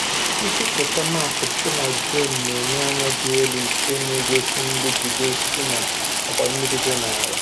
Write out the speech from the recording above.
Mpịpụta map site na drone na-enye anya dị elu nke na-egosi nrụgide osisi na ọkwa mmiri dị n’ala.